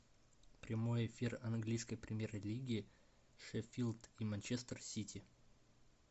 прямой эфир английской премьер лиги шеффилд и манчестер сити